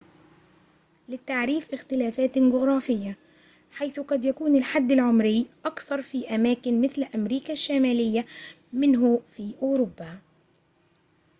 للتعريف اختلافات جغرافية حيث قد يكون الحد العمري أقصر في أماكن مثل أمريكا الشمالية منه في أوروبا